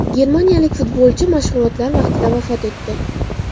Germaniyalik futbolchi mashg‘ulotlar vaqtida vafot etdi.